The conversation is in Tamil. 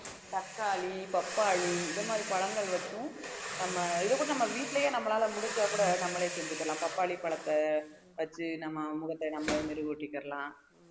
தக்காளி பப்பாளி இந்த மாதிரி பழங்கள் வச்சும் நம்ம இது கூட நம்ம வீட்டிலேயே நம்மளால முடிஞ்சா கூட நம்மளே செஞ்சுக்கலாம் பப்பாளி பழத்தை வச்சு நம்ம முகத்தை நாமே மெருகூட்டிக்கிறலாம்